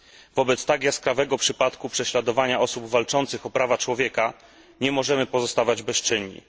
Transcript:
Wobec tak jaskrawego przypadku prześladowania osób walczących o prawa człowieka nie możemy pozostawać bezczynni.